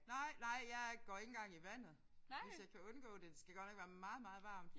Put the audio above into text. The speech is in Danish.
Nej nej jeg går ikke engang i vandet hvis jeg kan undgå det. Det skal godt nok være meget meget varmt